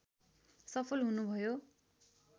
सफल हुनुभयो